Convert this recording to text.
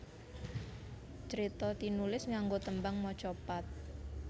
Crita tinulis nganggo tembang macapat